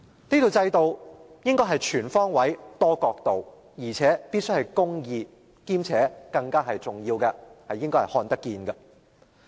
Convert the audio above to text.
這套制度應該是全方位、多角度，而且必須是公義的，更重要的是具透明度。